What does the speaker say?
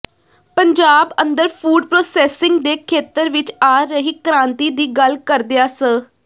ਪੰੰਜਾਬ ਅੰਦਰ food processing ਦੇ ਖੇਤਰ ਵਿਚ ਆ ਰਹੀ ਕ੍ਰਾਂਤੀ ਦੀ ਗੱਲ ਕਰਦਿਆਂ ਸ